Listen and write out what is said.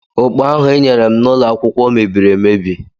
Ụkpa ahụ ịnyere m n'ụloakwụkwọ mebiri emebi.